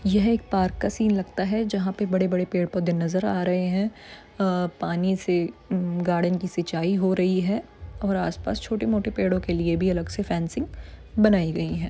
यह एक पार्क का सीन लगता है जहां पर बड़े बड़े पेड़ पोधे नज़र आ रहे है पानी से गार्डन की सिंचाई हो रही है और आस पास छोटे मोटे पेड़ो के लिए भी फेंसिंग बनाई गयी है।